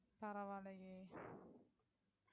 பரவாயில்லையே.